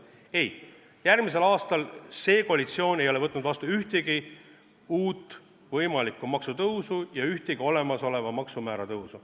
Ei, järgmiseks aastaks ei ole see koalitsioon võtnud vastu ühtegi uut võimalikku maksutõusu ega ühtegi olemasoleva maksumäära tõusu.